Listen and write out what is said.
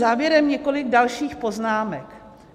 Závěrem několik dalších poznámek.